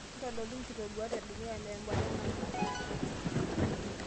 ntodolu nkitoduat e dukuya tembata nanu